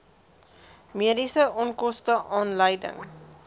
mediese onkoste aanleiding